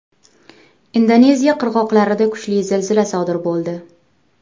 Indoneziya qirg‘oqlarida kuchli zilzila sodir bo‘ldi.